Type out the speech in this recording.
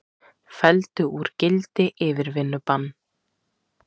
Felldu úr gildi yfirvinnubann